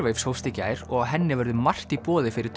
Airwaves hófst í gær og á henni verður margt í boði fyrir